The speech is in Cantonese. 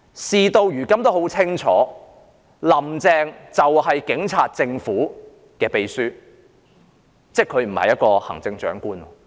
事到如今大家都很清楚，"林鄭"就是警察政府的秘書，即她不是行政長官。